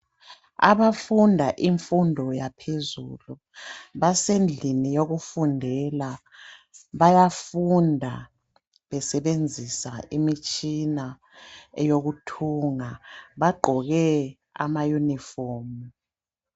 Abafunda infundo yaphezulu, basendlini yokufundela. Bayafunda besebenzisa imitshina eyokuthunga .Bagqoke amayunifomu .